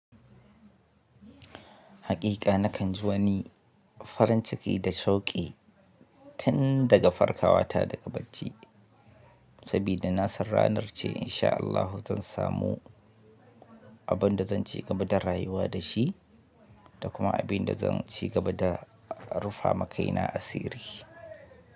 Haƙiƙa nakan ji wani farin ciki da sauƙi tun daga farkawa ta daga bacci, sabida na san ranar ce insha Allahu zan samu abin da zan ci gaba da rayuwa da shi da kuma abin da zan ci gaba da rufa makaina a sirri.